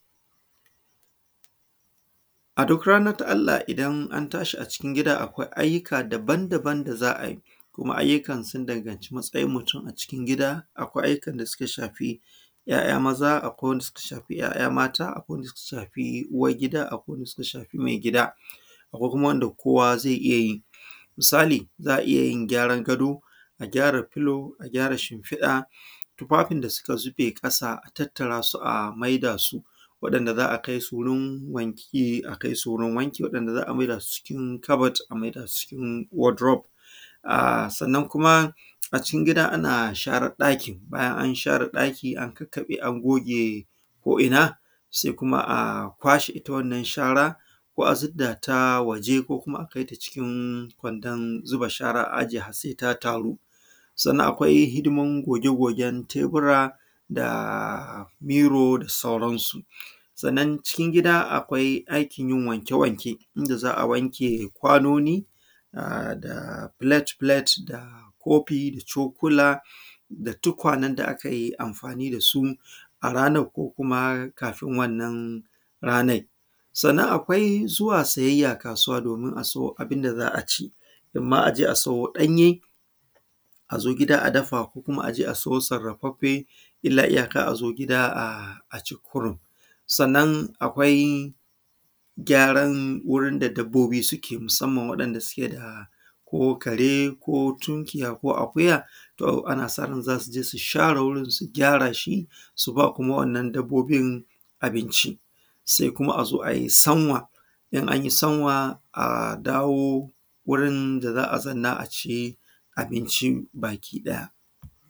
A duk ranan da Allah idan an tashi a cikin gida akwai ayyuka daban-daban da za a yi, kuma ayyukan sun danganci matsayin mutum a cikin gida. Akwai ayyukan da suka shafi ‘ya’ya maza, akwai ayyukan da suka shafi ‘ya’ya mata, akwai wanda suka shafi uwar gida wanda suka shafi mai gida, akwai kuma wanda kowa ze iya yi misali za a iya yin gyaran gado da gyara filo a gyara shimfiɗa kuma abun da suka zube ƙasa a tattarasu a mai da su wanda za a kai su wurin wanki a kai su wurin wanki, waɗanda za a maida su cikin kabad a maida su cikin kabad wadrof. Sanna kuma a cikin gida ana share ɗaki a share ɗaki bayan an share ɗaki a kakkaɓe, a goge ko’ina se kuma kwashe wannan shara ko a ziddata waje ko kuma a kai ta cikin kwandon zuba shara a ajiye har se ta taru, sannan akwai hidiman gogegogen tebura, miro da sauran su, sannan cikin gida akwai aikin yin wanke-wanke inda za a wanke kwanoni, filet-filet, kofi da cokula da tukanen da aka yi amfani da su a ranan ko kuma kafun wannan ranan. Sannan akwai siyayya zuwa kasuwa domin a sayo abun da za a ci, imam an je a siyo ɗanye a zo gida a dafa ko kuma a je a siyo sarrafaffe illa iyaka a zo gida a ci kurun, sannan akwai gyaran wurin da dabbobi da suke musamman waɗanda suke da ko kare ko tunkiya ko akuya to ana sa ran za su je su gyara wurin su share shi su ba kuma wannan dabbobin abinci, se kuma a zo, a zo a yi sanwa in an yi sanwa a dawo wurin da za a zannan a ci abinci bakiɗaya.